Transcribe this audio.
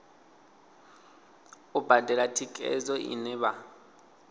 u badela thikhedzo ine vha